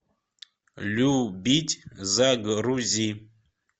любить загрузи